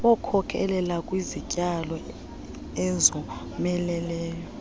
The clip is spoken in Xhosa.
wkhokelela kwizityalo ezomeleleyo